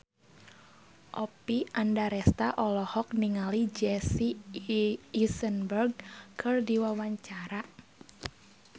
Oppie Andaresta olohok ningali Jesse Eisenberg keur diwawancara